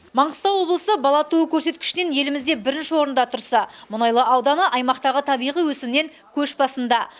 маңғыстау облысы бала туу көрсеткішінен елімізде бірінші орында тұрса мұнайлы ауданы аймақтағы табиғи өсімнен көш басында